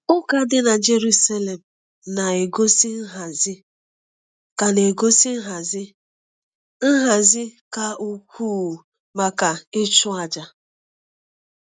Ụka dị na Jerusalem na-egosi nhazi ka na-egosi nhazi ka ukwuu maka ịchụ àjà.